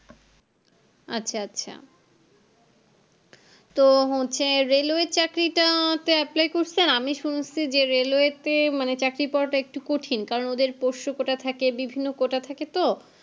আচ্ছা আচ্ছা তো হচ্ছে railway চাকরিটা তে apply করেছেন আমি শুনেছে যে railway তে মানে চাকরি পাওয়া তা একটু কঠিন কারণ ওদের পোষ্য quota থাকে বিভিন্ন quota থাকে তো